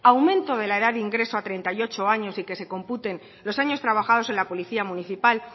aumento de la edad de ingreso a treinta y ocho años y que se computen los años trabajados en la policía municipal